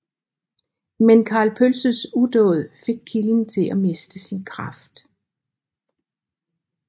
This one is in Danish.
Men Karl Pølses udåd fik kilden til at miste sin kraft